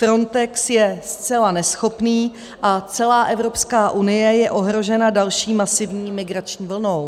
Frontex je zcela neschopný a celá Evropská unie je ohrožena další masivní migrační vlnou.